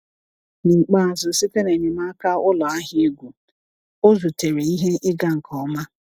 N’ikpeazụ, site na enyemaka ụlọ ahịa egwu, ọ zutere ihe ịga nke ọma.